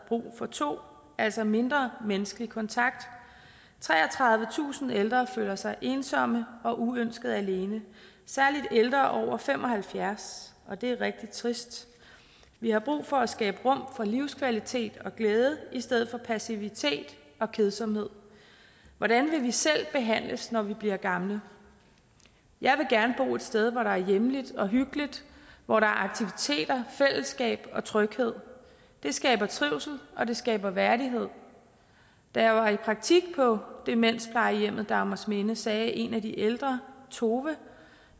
brug for to altså mindre menneskelig kontakt treogtredivetusind ældre føler sig ensomme og uønsket alene særlig ældre over fem og halvfjerds og det er rigtig trist vi har brug for at skabe rum for livskvalitet og glæde i stedet for passivitet og kedsomhed hvordan vil vi selv behandles når vi bliver gamle jeg vil gerne bo et sted hvor der er hjemligt og hyggeligt hvor der er aktiviteter fællesskab og tryghed det skaber trivsel og det skaber værdighed da jeg var i praktik på demensplejehjemmet dagmarsminde sagde en af de ældre tove